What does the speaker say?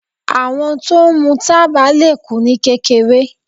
Àwọn tó ń mú tábà le kú ní kékeré.